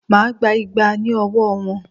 Máà gba igba ní ọwọ́ wọn!